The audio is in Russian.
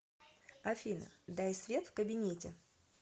афина дай свет в кабинете